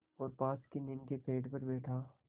और पास की नीम के पेड़ पर बैठा